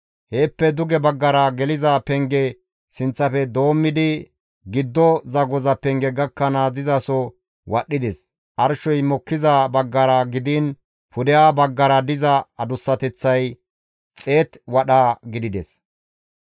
Heeppe duge baggara geliza penge sinththafe doommidi giddo zagoza penge gakkanaas dizasoza wadhdhides; arshey mokkiza baggara gidiin pudeha baggara diza adussateththay 100 wadha gidides.